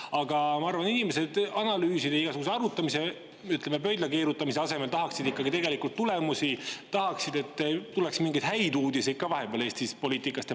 Aga ma arvan, et inimesed tahaksid analüüside, igasuguse arvutamise ja pöidlakeerutamise asemel ikkagi tulemusi, et tuleks mingeid häid uudiseid ka vahepeal Eesti poliitikast.